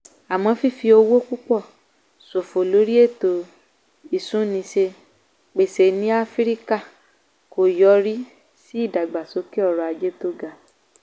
àmọ́ fífi owó púpọ̀ ṣòfò lórí ètò ìsúnniṣe-pèsè ní áfíríkà kò yọrí sí ìdàgbàsókè ọrọ̀ ajé tó ga.